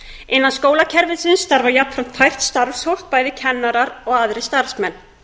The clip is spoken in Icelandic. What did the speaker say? innan skólakerfisins starfa jafnframt hæft starfsfólk bæði kennarar og aðrir starfsmenn